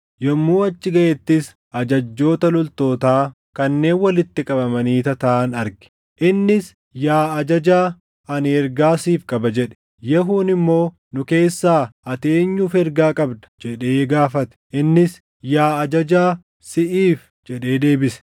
Yommuu achi gaʼettis ajajjoota loltootaa kanneen walitti qabamanii tataaʼan arge. Innis, “Yaa ajajaa, ani ergaa siif qaba” jedhe. Yehuun immoo, “Nu keessaa, ati eenyuuf ergaa qabda?” jedhee gaafate. Innis, “Yaa ajajaa, siʼiif” jedhee deebise.